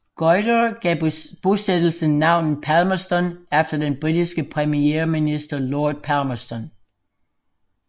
Goyder gav bosættelsen navnet Palmerston efter den britiske premierminister Lord Palmerston